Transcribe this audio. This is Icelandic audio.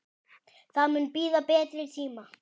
Það mun bíða betri tíma.